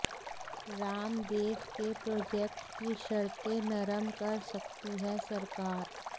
रामदेव के प्रोजेक्ट की शर्तें नरम कर सकती है सरकार